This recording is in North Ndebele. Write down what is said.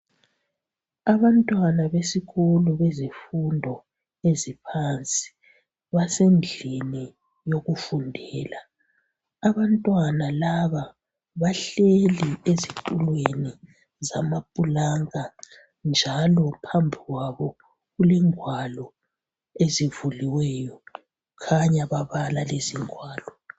Abantwana besikolo bemfundo yangaphansi basendlini yokufundela. Abantwana laba, bahleli ezitulweni samapulanka njalo phambu kwabo kule ngwalo ezivuliweyo kukhanya babala lezi zingwalo.